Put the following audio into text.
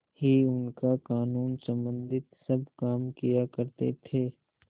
ही उनका कानूनसम्बन्धी सब काम किया करते थे